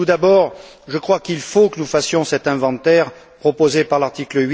Tout d'abord, je crois qu'il faut que nous fassions cet inventaire proposé par l'article